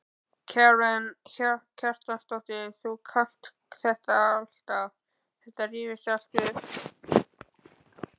Karen Kjartansdóttir: Þú kannt þetta alltaf, þetta rifjast alltaf upp?